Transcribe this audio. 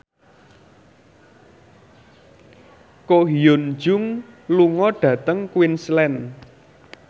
Ko Hyun Jung lunga dhateng Queensland